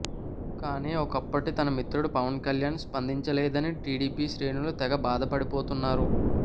కానీ ఒకప్పటి తన మిత్రుడు పవన్ కళ్యాణ్ స్పందించలేదని టీడీపీ శ్రేణులు తెగ బాధపడిపోతున్నారు